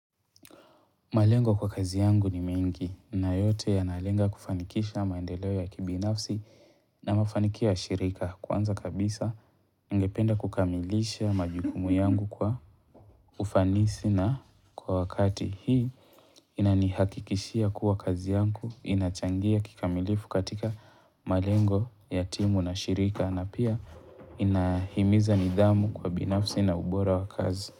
Malengo kwa kazi yangu ni mengi na yote ya nalenga kufanikisha maendeleo ya kibinafsi na mafanikio ya shirika. Kwanza kabisa ningependa kukamilisha majukumu yangu kwa ufanisi na kwa wakati hii inanihakikishia kuwa kazi yangu inachangia kikamilifu katika malengo ya timu na shirika na pia nahimiza nidhamu kwa binafsi na ubora wa kazi.